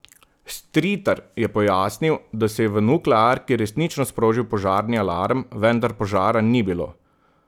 Stritar je pojasnil, da se je v nuklearki resnično sprožil požarni alarm, vendar požara ni bilo.